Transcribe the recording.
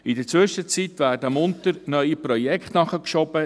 In der Zwischenzeit werden munter neue Projekte nachgeschoben.